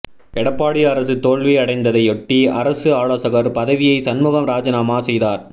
எடப்பாடி அரசு தோல்வி அடைந்ததையொட்டி அரசு ஆலோசகர் பதவியை சண்முகம் ராஜினாமா செய்தார்